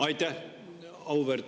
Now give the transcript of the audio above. Aitäh!